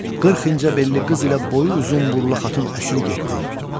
Qırx incə belli qız ilə boyu uzun burumlu xatun əsir getdi.